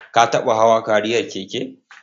Ka taɓa hawa kariyar keke?